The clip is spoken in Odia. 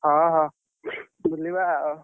ହଁ ହଁ, ବୁଲିବା ଆଉ।